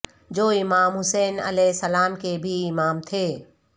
جو امام حسین علیہ السلام کے بھی امام تھے